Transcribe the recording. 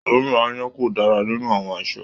oòrùn aáyán ko dára nínú àwọn aṣọ.